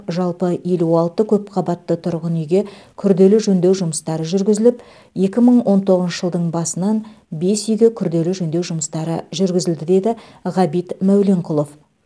жалпы елу алты көпқабатты тұрғын үйге күрделі жөндеу жұмыстары жүргізіліп екі мың он тоғызыншы жылдың басынан бес үйге күрделі жөндеу жұмыстары жүргізілді деді ғабит мәуленқұлов